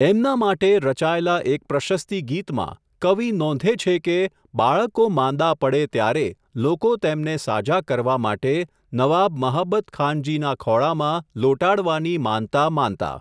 એમના માટે, રચાયેલા એક પ્રશસ્તી ગીતમાં, કવિ નોંધે છે કે, બાળકો માંદા પડે ત્યારે, લોકો તેમને સાજા કરવા માટે, નવાબ મહાબતખાનજીના ખોળામાં, લોટાડવાની માનતા માનતા.